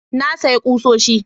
Na sayi kusoshi